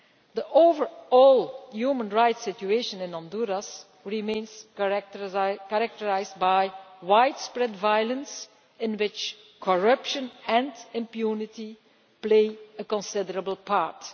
The overall human rights situation in Honduras remains characterised by widespread violence in which corruption and impunity play a considerable part.